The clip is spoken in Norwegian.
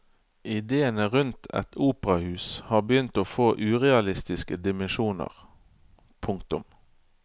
Idéene rundt et operahus har begynt å få urealistiske dimensjoner. punktum